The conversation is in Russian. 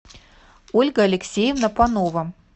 ольга алексеевна панова